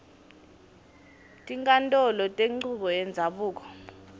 tinkhantolo tenchubo yendzabuko